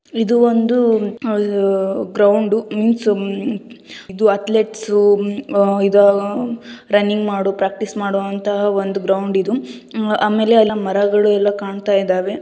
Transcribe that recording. ಇದು ಒಂದು ಗ್ರೌಂಡು ಇಲ್ಲಿ ಸುಮ ಇದು ಅಥ್ಲೆಟ್ಸ ಇದು ರನ್ನಿಂಗ್ ಮಾಡುವ ಪ್ರಾಕ್ಟೀಸ್ಮಾ ಮಾಡುವ ಅಂತಹ ಒಂದು ಗ್ರೌಂಡ್ ಇದು. ಆಮೇಲೆ ಅಲ್ಲಿ ಮರಗಳು ಎಲ್ಲಾ ಕಾಣ್ತಾ ಇದಾವೆ.